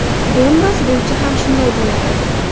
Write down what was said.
Donbass bo‘yicha ham shunday bo‘ladi.